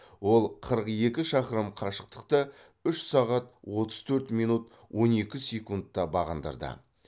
ол қырық екі шақырым қашықтықты үш сағат отыз төрт минут он екі секундта бағындырды